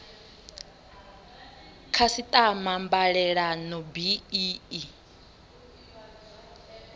khasiṱama mbalelano bi i i